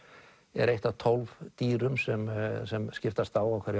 er eitt af tólf dýrum sem sem skiptast á á hverju